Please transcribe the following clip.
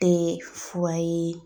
Tɛ fura ye